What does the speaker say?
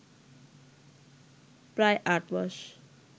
প্রায় আটমাস